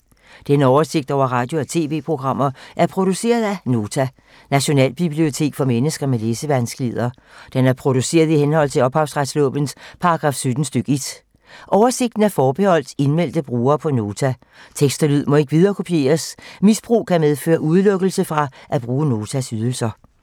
Denne oversigt over radio og TV-programmer er produceret af Nota, Nationalbibliotek for mennesker med læsevanskeligheder. Den er produceret i henhold til ophavsretslovens paragraf 17 stk. 1. Oversigten er forbeholdt indmeldte brugere på Nota. Tekst og lyd må ikke viderekopieres. Misbrug kan medføre udelukkelse fra at bruge Notas ydelser.